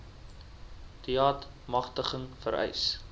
deat magtiging vereis